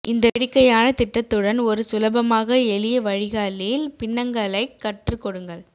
இந்த வேடிக்கையான திட்டத்துடன் ஒரு சுலபமாக எளிய வழிகளில் பின்னங்களை கற்றுக்கொடுங்கள்